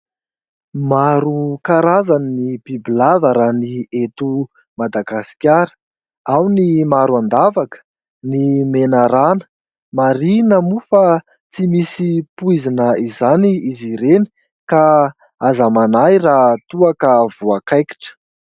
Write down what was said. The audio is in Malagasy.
Maro karazany ny bibilava raha ny eto Madagasikara. Ao ny maro an-davaka, ny menarana. Marihina moa fa tsy misy poizina izany izy ireny ka aza manahy raha toa ka voakaikitra.